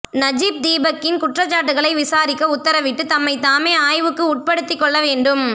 Najib தீபக்கின் குற்றச்சாட்டுகளை விசாரிக்க உத்தரவிட்டு தம்மைத்தாமே ஆய்வுக்கு உட்படுத்திக்கொள்ள வேண்டும்